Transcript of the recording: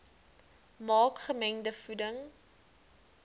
maak gemengde voeding